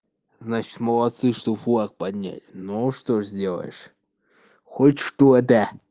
значит молодцы что флаг поднять но что сделаешь хоть что-то